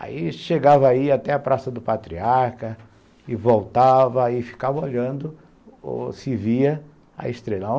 Aí chegava aí até a Praça do Patriarca e voltava e ficava olhando se via a estrela.